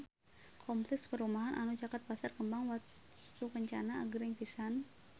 Kompleks perumahan anu caket Pasar Kembang Wastukencana agreng pisan